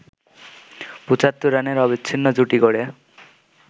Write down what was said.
৭৫ রানের অবিচ্ছিন্ন জুটি গড়ে